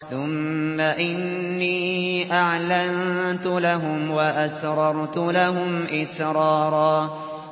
ثُمَّ إِنِّي أَعْلَنتُ لَهُمْ وَأَسْرَرْتُ لَهُمْ إِسْرَارًا